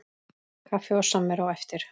Kaffi og samvera á eftir.